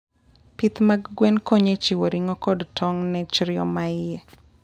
Pith mag gwen konyo e chiwo ring'o kod tong' ne chrio ma iye